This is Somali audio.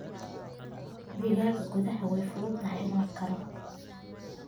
Digaagga gudaha way fududahay in la koro.